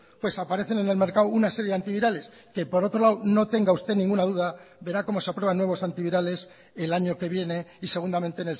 pues aparecen en el mercado una serie de antivirales que por otro lado no tenga usted ninguna duda verá cómo se aprueban nuevos antivirales el año que viene y segundamente